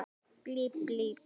Getur þetta verið rétt?